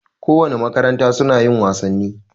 Ko wane makaranta suna yin wasanni